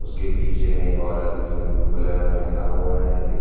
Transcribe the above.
उसके पीछे में एक औरत है जिसने ब्लू कलर का पहना हुआ है एक--